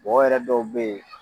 Mɔgɔ yɛrɛ dɔw bɛ ye